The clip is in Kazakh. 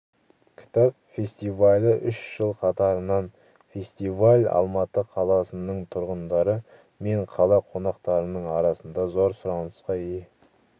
кітап фестивалі үш жыл қатарынан фестиваль алматы қаласының тұрғындары мен қала қонақтарының арасында зор сұранысқа ие